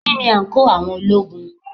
Kí ni àǹkóò àwọn ológun?